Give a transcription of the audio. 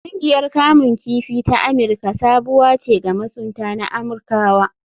Ƙungiyar kamun kifi ta Amirka sabuwa ce ga masunta na Amirkawa.